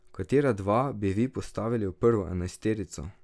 Katera dva bi vi postavili v prvo enajsterico?